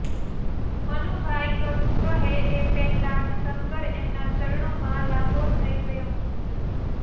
મનુભાઈ કશું કહે એ પહેલાં જ શંકર એમનાં ચરણોમાં લાંબો થઈ ગયો